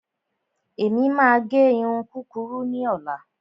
Èmi máa gẹ irun kúkurú ní ọ̀la.